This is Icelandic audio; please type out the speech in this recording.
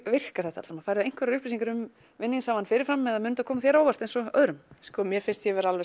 virkar þetta allt saman færðu einhverjar uppýsingar um vinningshafann fyrir fram eða mun þetta koma þér á óvart eins og öðrum sko mér finnst ég vera